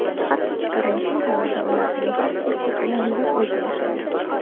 Hattoki karantin davrida ularning barchasi bilan bir uyda yashagan.